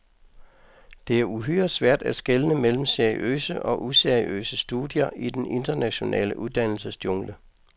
Det er uhyre svært at skelne mellem seriøse og useriøse studier i den internationale uddannelsesjungle.